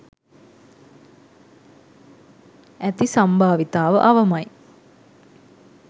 ඇති සම්භාවිතාව අවමයි.